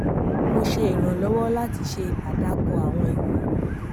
mo ṣe ìrànlọwọ láti ṣe àdàkọ àwọn ìwé